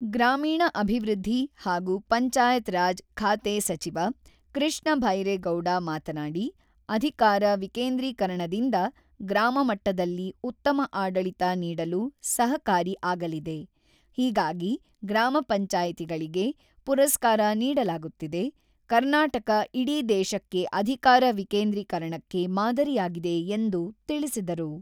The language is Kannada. ಗ್ರಾಮೀಣ ಅಭಿವೃದ್ಧಿ ಹಾಗೂ ಪಂಚಾಯತ್ ರಾಜ್ ಖಾತೆ ಸಚಿವ ಕೃಷ್ಣ ಭೈರೇಗೌಡ ಮಾತನಾಡಿ, "ಅಧಿಕಾರ ವಿಕೇಂದ್ರಿಕರಣದಿಂದ ಗ್ರಾಮ ಮಟ್ಟದಲ್ಲಿ ಉತ್ತಮ ಆಡಳಿತ ನೀಡಲು ಸಹಕಾರಿ ಆಗಲಿದೆ ; ಹೀಗಾಗಿ ಗ್ರಾಮ ಪಂಚಾಯತಿಗಳಿಗೆ ಪುರಸ್ಕಾರ ನೀಡಲಾಗುತ್ತಿದೆ: ಕರ್ನಾಟಕ ಇಡೀ ದೇಶಕ್ಕೆ ಅಧಿಕಾರ ವಿಕೇಂದ್ರಿಕರಣಕ್ಕೆ ಮಾದರಿಯಾಗಿದೆ" ಎಂದು ತಿಳಿಸಿದರು.